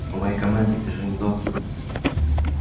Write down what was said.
по моей команде бежим до